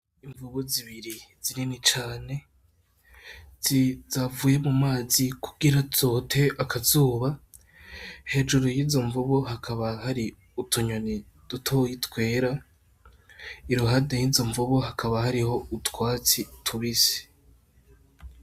Imvubu zibiri zinini cane zavuye mu mazi kugira zote akazuba hejuru yizo mvubu hakaba hari utunyoni dutoyi twera iruhande yizo mvubu hakaba hariho utwatsi tubisi .